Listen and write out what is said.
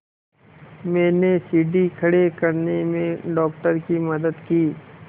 मैंने सीढ़ी खड़े करने में डॉक्टर की मदद की